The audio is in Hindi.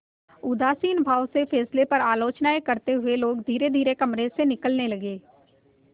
उदासीन भाव से फैसले पर आलोचनाऍं करते हुए लोग धीरेधीरे कमरे से निकलने लगे